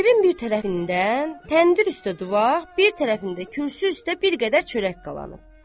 Evin bir tərəfindən təndir üstə duvaq, bir tərəfində kürsü üstə bir qədər çörək qalanıb.